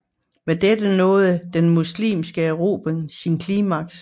Med dette nåede den muslimske erobring sit klimaks